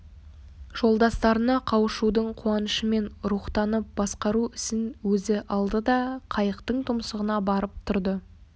жолдастарына қауышудың қуанышымен рухтанып басқару ісін өзі алды да қайықтың тұмсығына барып тұрды